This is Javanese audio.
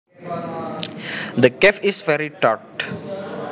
The cave is very dark